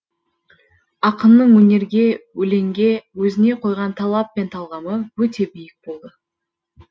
ақынның өнерге өлеңге өзіне қойған талап пен талғамы өте биік болды